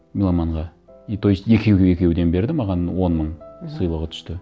меломанға и то есть екеуге екеуден берді маған он мың мхм сыйлығы түсті